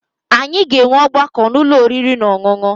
Anyị ga-enwe ọgbakọ n'ụlọ oriri na ọṅụṅụ